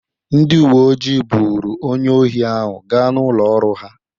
Ndị uwe ojii buuru onye ohi ahụ gaa n'ụlọ ọrụ ha.